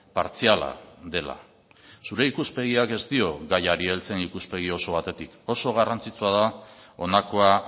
partziala dela zure ikuspegiak ez dio gaiari heltzen ikuspegi oso batetik oso garrantzitsua da honakoa